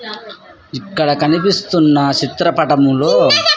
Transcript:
ఇక్కడ కనిపిస్తున్న చిత్రపటంలో.